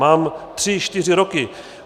Mám tři čtyři roky.